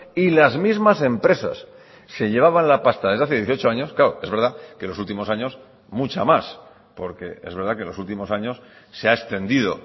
y las mismas empresas se llevaban la pasta desde hace dieciocho años claro es verdad que los últimos años mucha más porque es verdad que los últimos años se ha extendido